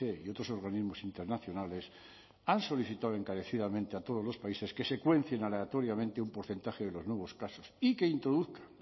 y otros organismos internacionales han solicitado encarecidamente a todos los países que secuencien aleatoriamente un porcentaje de los nuevos casos y que introduzcan